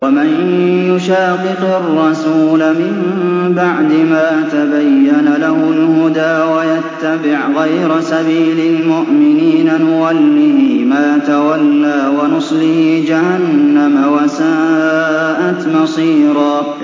وَمَن يُشَاقِقِ الرَّسُولَ مِن بَعْدِ مَا تَبَيَّنَ لَهُ الْهُدَىٰ وَيَتَّبِعْ غَيْرَ سَبِيلِ الْمُؤْمِنِينَ نُوَلِّهِ مَا تَوَلَّىٰ وَنُصْلِهِ جَهَنَّمَ ۖ وَسَاءَتْ مَصِيرًا